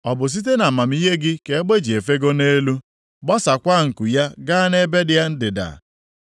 “Ọ bụ site nʼamamihe gị ka egbe ji efego nʼelu, gbasaakwa nku ya gaa nʼebe ndịda?